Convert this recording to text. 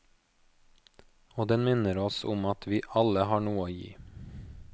Og den minner oss om at vi alle har noe å gi.